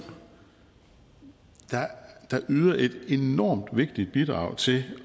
der yder et enormt vigtigt bidrag til